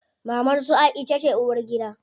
Mamar su Aisha ce uwargida.